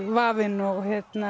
vafinn og